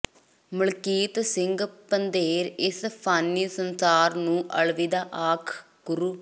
ਮਲਕੀਤ ਸਿੰਘ ਪੰਧੇਰ ਇਸ ਫਾਨੀ ਸੰਸਾਰ ਨੂੰ ਅਲਵਿਦਾ ਆਖ ਗੁਰੂ